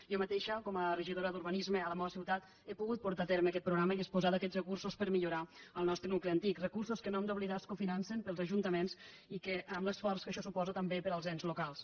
jo ma·teixa com a regidora d’urbanisme a la meua ciutat he pogut portar a terme aquest programa i disposar d’aquests recursos per millorar el nostre nucli antic recursos que no hem d’oblidar es cofinancen pels ajuntaments amb l’esforç que això suposa també per als ens locals